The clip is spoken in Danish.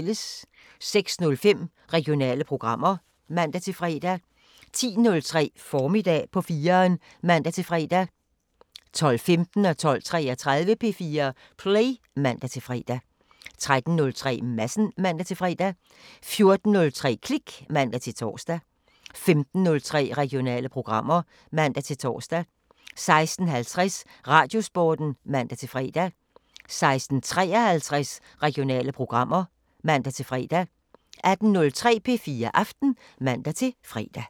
06:05: Regionale programmer (man-fre) 10:03: Formiddag på 4'eren (man-fre) 12:15: P4 Play (man-fre) 12:33: P4 Play (man-fre) 13:03: Madsen (man-fre) 14:03: Klik (man-tor) 15:03: Regionale programmer (man-tor) 16:50: Radiosporten (man-fre) 16:53: Regionale programmer (man-fre) 18:03: P4 Aften (man-fre)